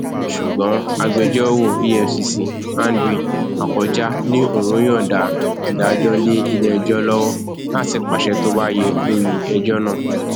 ṣùgbọn agbẹjọrò efcc andrew akọjá ní òún yọǹda ìdájọ lé iléẹjọ lọwọ láti pàṣẹ tó bá yẹ lórí ẹjọ náà